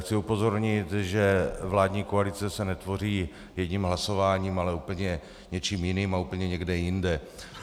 Chci upozornit, že vládní koalice se netvoří jedním hlasováním, ale úplně něčím jiným a úplně někde jinde.